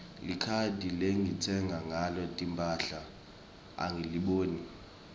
likhadi lengitsenga ngalo timphahla angiliboni